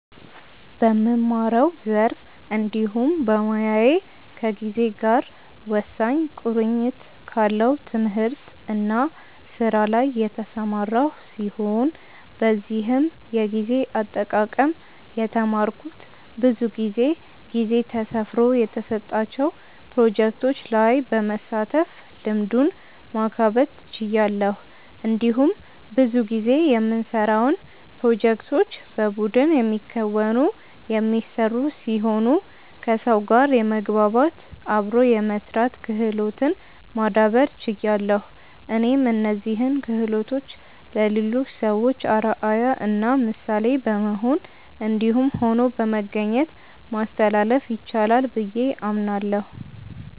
በምማረው ዘርፍ እንዲሁም በሞያዬ ከጊዜ ጋር ወሳኝ ቁርኝት ካለው ትምህርት እና ስራ ላይ የተሰማራው ሲሆን በዚህም የጊዜ አጠቃቀም የተማረኩት ብዙ ጊዜ ጊዜ ተሰፍሮ የተሰጣቸው ፕሮጀክቶች ላይ በመሳተፍ ልምዱን ማካበት ችያለሁ። እንዲሁም ብዙ ጊዜ የምንሰራውን ፕሮጀክቶች በቡድን የሚከናወኑ/የሚሰሩ ሲሆኑ ከሰው ጋር የመግባባት/አብሮ የመስራት ክህሎትን ማዳብር ችያለሁ። እኔም እነዚህን ክሆሎቶችን ለሌሎች ሰዎች አርአያ እና ምሳሌ በመሆን እንዲሁም ሆኖ በመገኘት ማስተላለፍ ይቻላል ብዬ አምናለሁ።